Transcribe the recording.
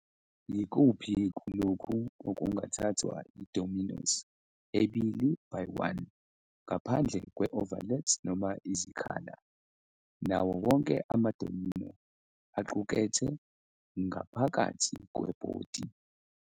Yikuphi kulokhu okungathathwa yi-dominoes ebili-by-one, ngaphandle kwe-overlaps noma izikhala, nawo wonke ama-domino aqukethe ngaphakathi kweBhodi?